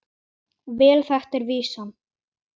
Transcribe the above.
Vel þekkt er vísan